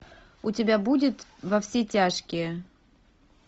у тебя будет во все тяжкие